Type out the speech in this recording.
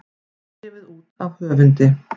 Gefið út af höfundi.